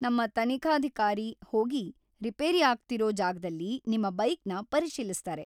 ನಮ್ಮ ತನಿಖಾಧಿಕಾರಿ ಹೋಗಿ ರಿಪೇರಿ ಆಗ್ತಿರೋ ಜಾಗದಲ್ಲಿ ನಿಮ್ಮ ಬೈಕ್‌ನ ಪರಿಶೀಲಿಸ್ತಾರೆ.